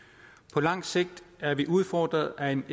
på lang sigt er vi udfordret af en